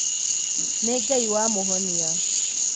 Nĩ Ngai wamũhonia